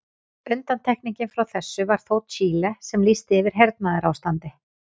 Undantekningin frá þessu var þó Chile sem lýsti yfir hernaðarástandi.